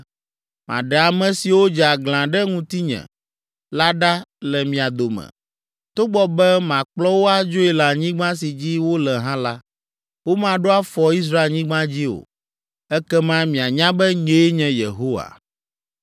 Maɖe ame siwo dze aglã ɖe ŋutinye la ɖa le mia dome. Togbɔ be makplɔ wo adzoe le anyigba si dzi wole hã la, womaɖo afɔ Israelnyigba dzi o. Ekema mianya be nyee nye Yehowa.’